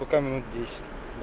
пока минут десять